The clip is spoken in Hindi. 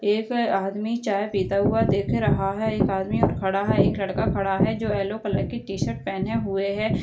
एक आदमी चाय पीता हुआ दिख रहा है। एक आदमी और खड़ा है। एक लड़का खड़ा है जो येलो कलर की टी-शर्ट पेहने हुए है।